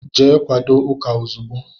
Jee kwadó ụka ozigbo!!!